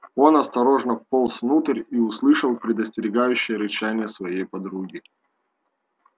он осторожно вполз внутрь и услышал предостерегающее рычание своей подруги